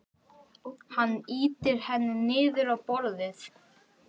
Hann ýtir henni niður á borðið.